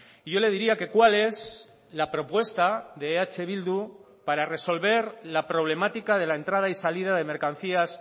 y yo le diría que cual es la propuesta de eh bildu para resolver la problemática de la entrada y salida de mercancías